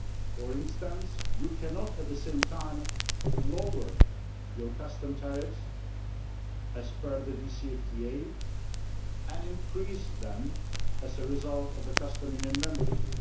For instance, you cannot at the same time lower your customs tariffs as per the DCFTA and increase them as a result of Customs Union membership.